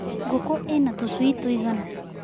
Ngũkũ ina tũcui tũigana.